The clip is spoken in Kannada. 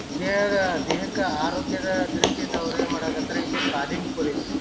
ದೇಹದ ದೇಹಕ್ಕ ಆರೋಗ್ಯ ದ ದೃಷ್ಟಿಯಿಂದ ಅವ್ರ ಏನ್ ಮಾಡಕತ್ತರ್ ಇದು ತಾಲೀಮ್ ಕುರಿತಿ.